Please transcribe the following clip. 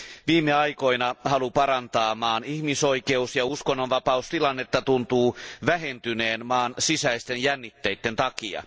Viime aikoina halu parantaa maan ihmisoikeus ja uskonnonvapaustilannetta tuntuu vähentyneen maan sisäisten jännitteiden takia.